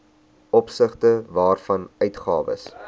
opsigte waarvan uitgawes